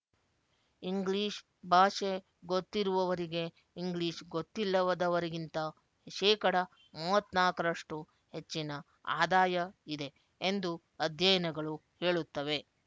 English ಭಾಷೆ ಗೊತ್ತಿರುವವರಿಗೆ English ಗೊತ್ತಿಲ್ಲದವರಿಗಿಂತ ಶೇಕಡ ಮೂವತ್ತ್ ನಾಲ್ಕುರಷ್ಟು ಹೆಚ್ಚಿನ ಆದಾಯ ಇದೆ ಎಂದು ಅಧ್ಯಯನಗಳು ಹೇಳುತ್ತವೆ